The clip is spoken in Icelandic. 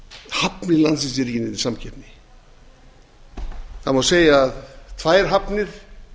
hafnir landsins eru ekki í neinni samkeppni það má segja að tvær hafnir